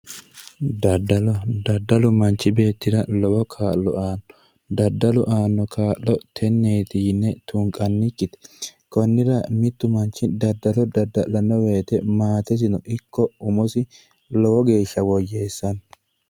Dadallo dadallu manchi beetira lowo kaa'lo aano, dadallu aano kaa'lo teneet yine tunqanikite, konra mitu manchi dadallo dadala'no woyte maatesino iko umosino lowo geesha woyeesano,